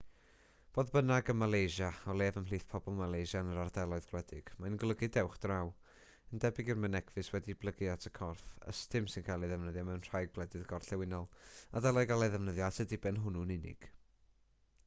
fodd bynnag ym malaysia o leiaf ymhlith pobl malaysia yn yr ardaloedd gwledig mae'n golygu dewch draw yn debyg i'r mynegfys wedi'i blygu at y corff ystum sy'n cael ei ddefnyddio mewn rhai gwledydd gorllewinol a dylai gael ei ddefnyddio at y diben hwnnw'n unig